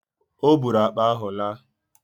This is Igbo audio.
Ọ bụụrụ akpa ahụ laa